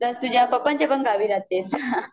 plus तुझ्या पप्पांच्या गावी पण राहतेस हा हा